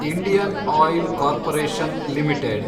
Indian oil corporation limited